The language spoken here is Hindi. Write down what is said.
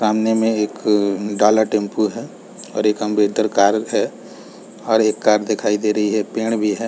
सामने में एक डाला टेम्पू है और एक अम्बेटर अम्बे कार है और एक कार दिखाई दे रही है पेड़ भी हैं ।